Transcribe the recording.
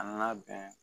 A nana bɛn